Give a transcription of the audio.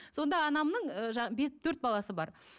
сонда анамның ы жаңағы төрт баласы бар